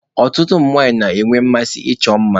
Ọtụtụ ụmụ nwanyị na-enwe mmasị ịchọ mma.